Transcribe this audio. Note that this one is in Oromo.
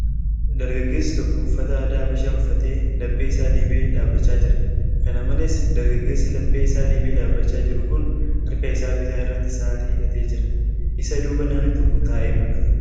Dargageessi tokko uffata aadaa Habashaa uffatee laphee isaa dhiibee dhaabbachaa jira. Kana malees, dargaggeessi laphee isaa dhiibee dhaabbachaa jiru kun harka isaa bitaa irratti sa'aatiii hidhatee jira. Isa duuba namni tokko taa'ee mul'ata.